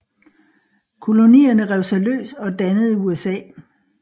Kolonierne rev sig løs og dannede USA